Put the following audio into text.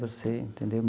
Você entendeu?